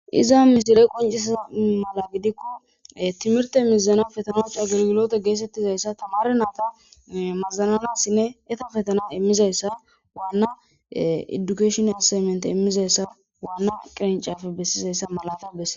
Iza misire quncisa mala gidikko timirte mizana fetanachu agilgilote geesettizayssa tamare naata mazananassinne eta fetana immizayssa waanna edukashonay seemente immizayssa waanna qirincafe bessizayssa malata besse.